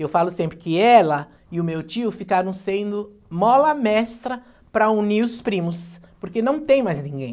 Eu falo sempre que ela e o meu tio ficaram sendo mola mestra para unir os primos, porque não tem mais ninguém.